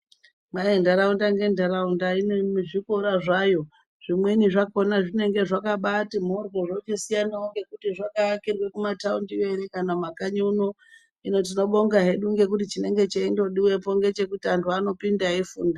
Ntaraunda ngentaraunda inezvikora zvayo. Zvimweni zvakhona zvinenge zvakabaati mhoryo zvimweni zvochisiyana ngekuti zvakaakirwa kumataundi kana kumakanyi uno. Hino tinobonga hedu ngekuti chinenge cheindodiwapo ngechekuti antu anopinda echifunda.